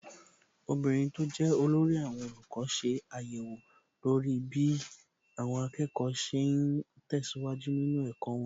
Obìnrin tó jẹ́ olórí àwọn olùkọ́ ṣe àyẹ̀wò lórí bí àwọn akẹ́kọ̀ọ́ ṣe ń tẹ̀síwájú nínú ẹ̀kọ́ wọn.